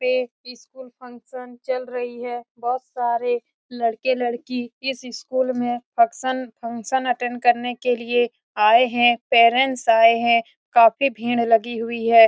पे school function चल रही है बहुत सारे लड़के लड़की इस स्कूल में फंक्शन फंक्शन अटेंड करने के लिए आए है पेरेंट्स आये है काफी भीड़ लगी गुई है ।